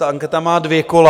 Ta anketa má dvě kola.